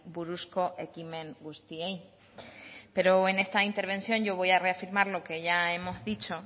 buruzko ekimen guztiei pero en esta intervención yo voy a reafirmar lo que ya hemos dicho